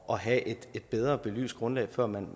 og have et bedre belyst grundlag før man